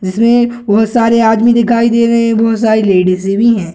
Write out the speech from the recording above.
इसमें बहुत सारे आदमी दिखाई दे रहें हैं बहुत सारे लेडीजें भी है।